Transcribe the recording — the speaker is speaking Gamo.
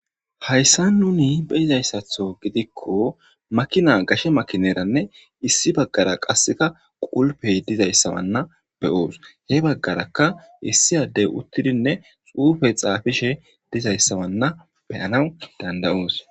hayssa nuni beyizayssatho gidikko makina gashe makineranne issi baggara qasseka qulpey dizayssawanna beyoos he baggaraka issi addey uttidinne xuufe xaafishe dizayssawanna beyanaw dandayoos